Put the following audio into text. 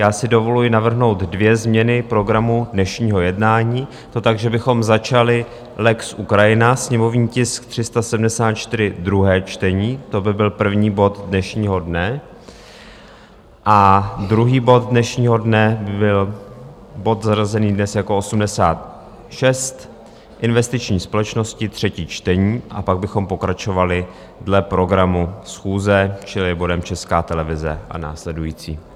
Já si dovoluji navrhnout dvě změny programu dnešního jednání, to tak, že bychom začali lex Ukrajina, sněmovní tisk 374, druhé čtení - to by byl první bod dnešního dne, a druhý bod dnešního dne by byl bod zařazený dnes jako 86, investiční společnosti, třetí čtení, a pak bychom pokračovali dle programu schůze, čili bodem Česká televize a následující.